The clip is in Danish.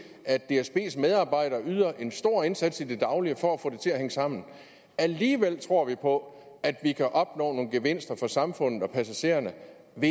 at dsbs medarbejdere yder en stor indsats i det daglige for at få det til at hænge sammen alligevel tror vi på at vi kan opnå nogle gevinster for samfundet og passagererne